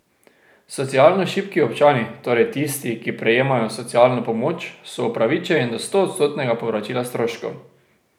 Socialno šibki občani, torej tisti, ki prejemajo socialno pomoč, so upravičeni do stoodstotnega povračila stroškov.